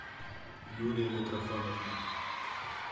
юлия митрофановна